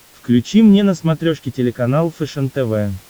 включи мне на смотрешке телеканал фэшен тв